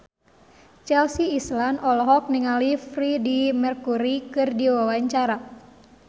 Chelsea Islan olohok ningali Freedie Mercury keur diwawancara